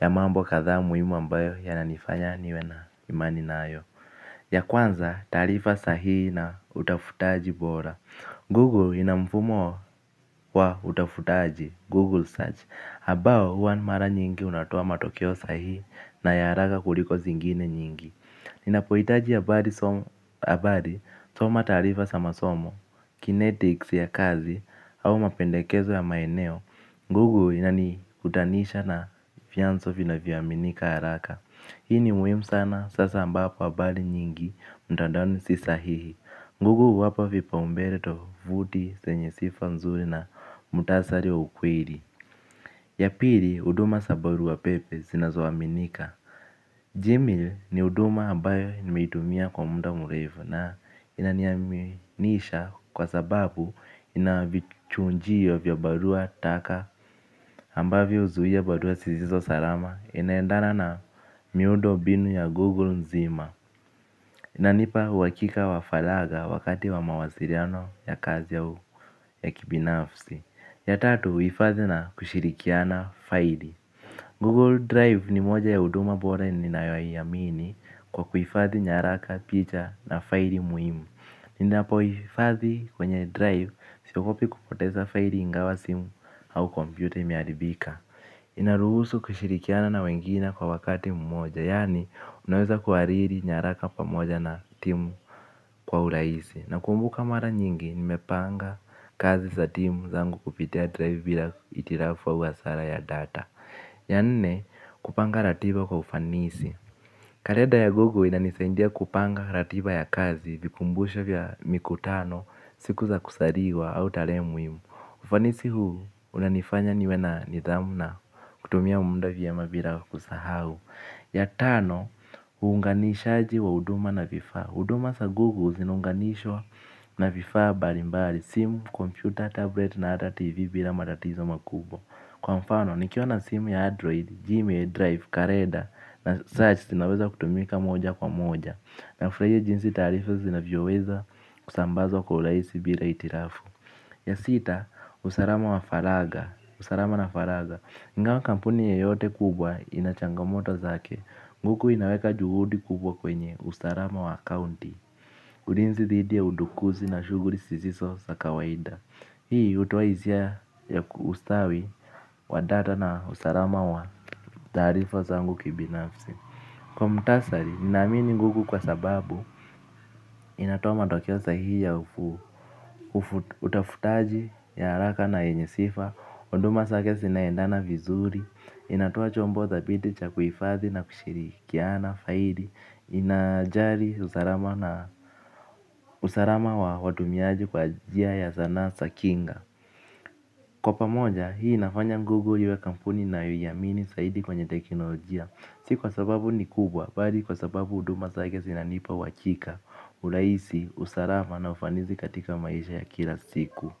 ya mambo kadhaa muhimu ambayo yananifanya niwe na imani nayo ya kwanza taarifa sahihi na utafutaji bora. Google ina mfumo wa utafutaji Google Search ambao huwa mara nyingi unatoa matokeo sahihi na ya haraka kuliko zingine nyingi. Ninapohitaji habari soma taarifa za masomo kinetics ya kazi au mapendekezo ya maeneo. Google inanikutanisha na vyanzo vinavyoaminika haraka. Hii ni muhimu sana sasa ambapo habari nyingi mtandaoni si sahihi. Google huwapa vipaumbele tovuti zenye sifa nzuri na muhtasari wa ukweli. Ya pili huduma za barua pepe zinazoaminika. Gmail ni huduma ambayo nimeitumia kwa muda mrefu na inaniaminisha kwa sababu ina vichujio vya barua taka ambavyo huzuia barua zisizo salama inaendana na miundombinu ya Google nzima. Inanipa uhakika wa faragha wakati wa mawasiliano ya kazi au ya kibinafsi. Ya tatu huhifadhi na kushirikiana faili. Google Drive ni moja ya huduma bora ninayoiamini kwa kuhifadhi nyaraka, picha na faili muhimu. Ninapohifadhi kwenye Drive siogopi kupoteza faili ingawa simu au kompyuta imeharibika. Inaruhusu kushirikiana na wengine kwa wakati mmoja, yaani unaweza kuhariri nyaraka pamoja na timu kwa urahisi nakumbuka mara nyingi nimepanga kazi za timu zangu kupitia Drive bila hitilafu au hasara ya data ya nne kupanga ratiba kwa ufanisi. Kalenda ya Google inanisaidia kupanga ratiba ya kazi vikumbusho vya mikutano siku za kuzaliwa au tarehe muhimu ufanisi huu unanifanya niwe na nidhamu na kutumia muda vyema bila kusahau ya tano uunganishaji wa huduma na vifaa huduma sa Google zinaunganishwa na vifaa mbalimbali simu, kompyuta, tablet na hata TV bila matatizo makubwa kwa mfano, nikiwa na simu ya Android, Gmail, Drive, kalenda, na search zinaweza kutumika moja kwa moja. Nafurahia jinsi taarifa zinavyoweza kusambazwa kwa urahisi bila hitilafu ya sita, usalama wa faragha usalama na faragha ingawa kampuni yeyote kubwa ina changamoto zake. Google inaweka juhudi kubwa kwenye usalama wa akaunti. Ulinzi dhidi ya udukuzi na shughuli zisizo za kawaida. Hii hutoa hisia ya ustawi wa data na usalama wa taarifa zangu kibinafsi kwa muhtasari, ninaamini Google kwa sababu inatoa matokeo sahihi ya utafutaji ya haraka na yenye sifa huduma zake zinaendana vizuri. Inatoa chombo thabiti cha kuhifadhi na kushirikiana faili. Inajali usalama wa watumiaji kwa njia ya zana za kinga kwa pamoja, hii inafanya Google iwe kampuni ninayoiamini zaidi kwenye teknolojia. Si kwa sababu ni kubwa, bali kwa sababu huduma zake zinanipa uhakika, urahisi, usalama na ufanisi katika maisha ya kila siku.